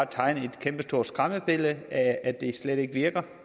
tegne et kæmpestort skræmmebillede af at det slet ikke virker